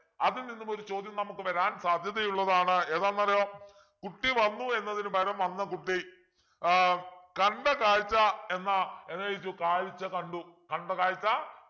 അതിൽ നിന്നും ഒരു ചോദ്യം നമുക്ക് വരാൻ സാധ്യതയുള്ളതാണ് ഏതാണത് കുട്ടി വന്നു എന്നതിന് പകരം വന്ന കുട്ടി ആഹ് കണ്ട കാഴ്ച എന്ന എന്താ കാഴ്ച കണ്ടു കണ്ട കാഴ്ച